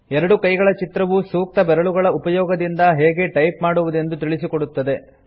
ಎರಡು ಕೈಗಳ ಚಿತ್ರವು ಸೂಕ್ತ ಬೆರಳುಗಳ ಉಪಯೋಗದಿಂದ ಹೇಗೆ ಟೈಪ್ ಮಾಡುವುದೆಂದು ತಿಳಿಸಿಕೊಡುತ್ತದೆ